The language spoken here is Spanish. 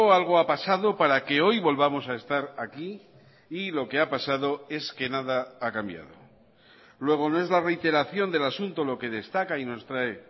algo ha pasado para que hoy volvamos a estar aquí y lo que ha pasado es que nada ha cambiado luego no es la reiteración del asunto lo que destaca y nos trae